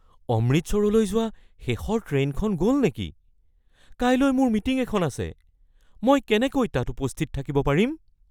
অমৃতসৰলৈ যোৱা শেষৰ ট্ৰেইনখন গ'ল নেকি? কাইলৈ মোৰ মিটিং এখন আছে, মই কেনেকৈ তাত উপস্থিত থাকিব পাৰিম?